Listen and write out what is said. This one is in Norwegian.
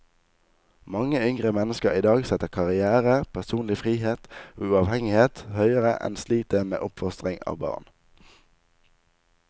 Mange yngre mennesker i dag setter karrière, personlig frihet og uavhengighet høyere enn slitet med oppfostringen av barn.